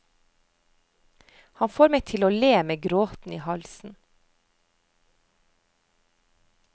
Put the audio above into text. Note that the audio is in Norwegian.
Han får meg til å le med gråten i halsen.